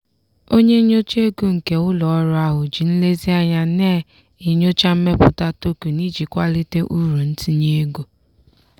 onye nyocha ego nke ụlọ ọrụ ahụ ji nlezianya na-enyocha mmepụta token iji kwalite uru ntinye ego.